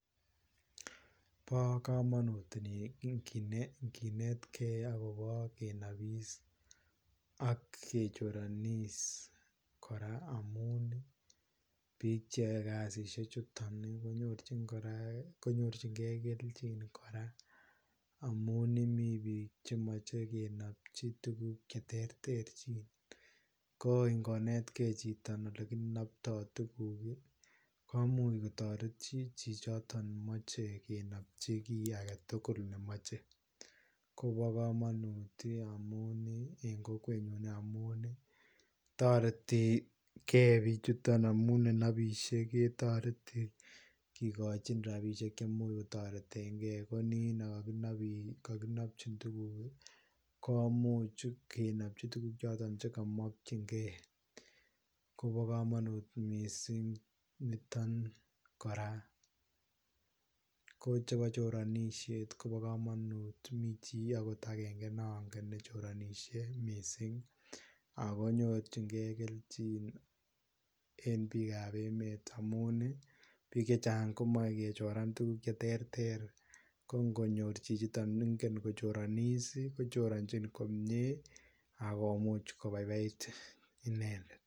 Bo kamanut kiit net kei agobo kenapis ak kechoranis kora amuu biik che yae kasisiek chutoon konyoorjigei keljiin kora amuu Mii biik che machei kenapjii tuguuk che terter ko ingonetkei chitoo ole kinaptoi tuguuk komuuch kotaretiin chii chichoton machei kenapjii kiy age tugul ne machei ,ko bo kamanut en ii en kokwet ninyoon amuun taretii kei bichutoon amuun ne napishei ketaretii kikochiin rapisheek cheimuuch kotareteen kei ko niin kakinapjiin tuguuk ii komuuch kenapjii tuguuk chotoon che ka makyiin gei Kobo kamanut missing nitoon kora ko chebo choranisheet kobaa kamanuut Mii chii agenge akoot nangeen akochoranishee missing ako nyorjiin gei keljiin en biik ab emeet amuun ii biik chechaang komachei kechoraan tuguuk che terter ko ngo nyoor chichitoon nengen ko choranis kocharanjiin komyei agomuuch kojoranjigei inendet.